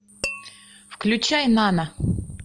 включай нана